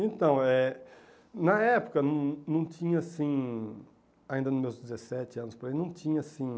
Então eh, na época não não tinha assim, ainda nos meus dezessete anos, por aí, não tinha assim...